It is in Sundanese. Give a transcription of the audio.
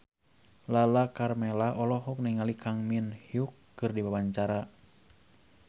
Lala Karmela olohok ningali Kang Min Hyuk keur diwawancara